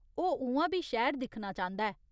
ओह् उ'आं बी शैह्‌र दिक्खना चांह्दा ऐ।